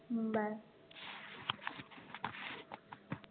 हम्म bye